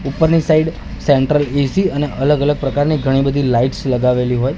ઉપરની side central AC અને અલગ અલગ પ્રકારની ઘણી બધી લાઈટ્સ લગાવેલી હોય--